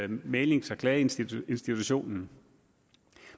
mæglings og klageinstitutionen